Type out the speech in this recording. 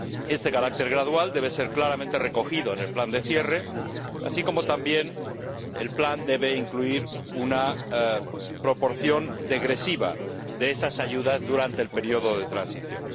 Este carácter gradual debe ser claramente recogido en el plan de cierre, así como también el plan debe incluir una proporción degresiva de esas ayudas durante el periodo de transición.